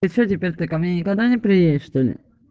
и все теперь ты ко мне никогда не приедешь что ли